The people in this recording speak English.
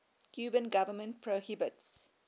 cuban government prohibits